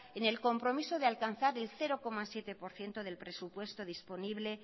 en el compromiso de alcanzar el cero coma siete por ciento del presupuesto disponible